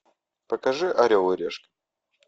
покажи орел и решка